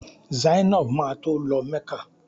Zainab ma tó lọ mecca.